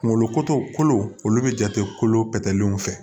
Kunkolo koto kolo olu bɛ jate kolo pɛtɛlenw fɛ